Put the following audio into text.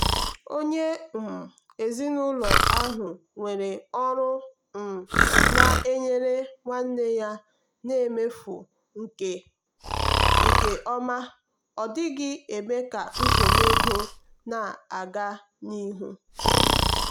onye um ezinụlọ ahụ nwere ọrụ um na-enyere nwanne ya na mmefu nke ọma ọ dịghị eme ka nsogbu ego ha na-aga n'ihu.